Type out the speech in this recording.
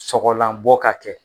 Sɔgɔlanbɔ ka kɛ